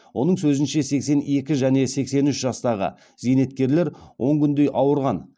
оның сөзінше сексен екі және сексен үш жастағы зейнеткерлер он күндей ауырған